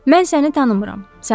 Mən səni tanımıram.